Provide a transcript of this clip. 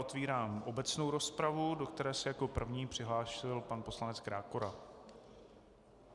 Otevírám obecnou rozpravu, do které se jako první přihlásil pan poslanec Krákora.